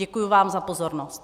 Děkuji vám za pozornost.